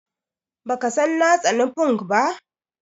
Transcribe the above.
Baka san na tsani funk ba?